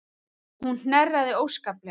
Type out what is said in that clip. Hún hnerraði óskaplega.